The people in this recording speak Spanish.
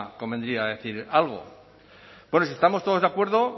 convendría decir algo bueno si estamos todos de acuerdo